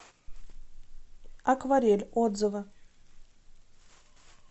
акварель отзывы